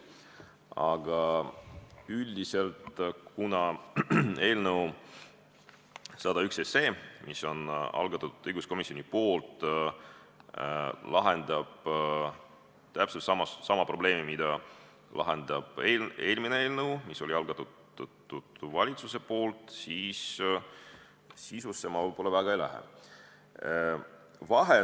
Aga üldiselt, kuna eelnõu 101, mille on algatanud õiguskomisjon, lahendab täpselt sama probleemi, mida lahendab eelmine eelnõu, mis oli valitsuse algatatud, siis ma sisusse võib-olla väga ei lähe.